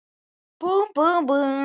Búmm, búmm, búmm.